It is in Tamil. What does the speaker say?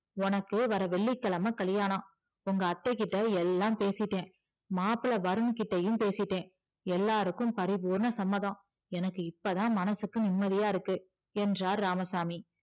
உனக்கு வர்ற வெள்ளிக்கிழமை கல்யாணம் உங்க அத்தைகிட்ட எல்லாம் பேசிட்டேன் மாப்பிள்ளை வருண்கிட்டயும் பேசிட்டேன் எல்லாருக்கும் பரிபூரண சம்மதம் எனக்கு இப்போதான் மனசுக்கு நிம்மதியா இருக்கு என்றார் இராமசாமி